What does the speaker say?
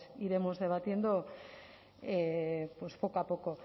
iremos debatiendo poco a poco